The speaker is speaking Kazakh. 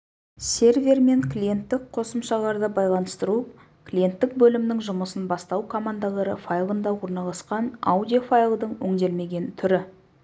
сервер мен клиенттік қосымшаларды байланыстыру клиенттік бөлімнің жұмысын бастау командалары файлында орналасқан аудио файлдың өңделмеген түрі